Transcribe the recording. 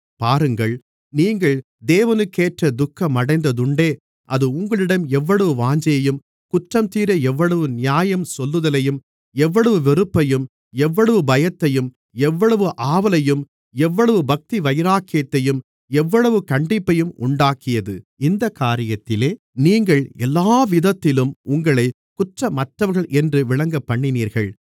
பாருங்கள் நீங்கள் தேவனுக்கேற்ற துக்கமடைந்ததுண்டே அது உங்களிடம் எவ்வளவு வாஞ்சையையும் குற்றம் தீர எவ்வளவு நியாயம் சொல்லுதலையும் எவ்வளவு வெறுப்பையும் எவ்வளவு பயத்தையும் எவ்வளவு ஆவலையும் எவ்வளவு பக்திவைராக்கியத்தையும் எவ்வளவு கண்டிப்பையும் உண்டாக்கியது இந்தக் காரியத்திலே நீங்கள் எல்லாவிதத்திலும் உங்களைக் குற்றமற்றவர்கள் என்று விளங்கப்பண்ணினீர்கள்